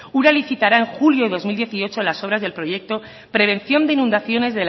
ura licitará en julio de dos mil dieciocho las obras del proyecto prevención de inundaciones